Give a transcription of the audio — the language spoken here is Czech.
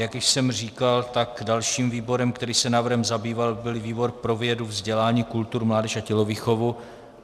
Jak již jsem říkal, tak dalším výborem, který se návrhem zabýval, byl výbor pro vědu, vzdělání, kulturu, mládež a tělovýchovu.